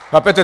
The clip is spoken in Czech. Chápete?